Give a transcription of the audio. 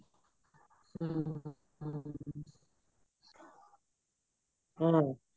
ਹਮ